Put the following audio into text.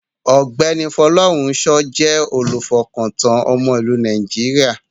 Ọ̀gbẹ́ni Folorunsho jẹ́ olùfọkàntán ọmọ ìlú Nàìjíríà.